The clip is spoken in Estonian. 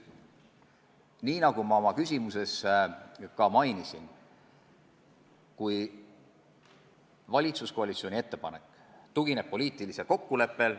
Nagu ma oma küsimust esitades mainisin, on mõistetav, kui valitsuskoalitsiooni ettepanek tugineb poliitilisele kokkuleppele.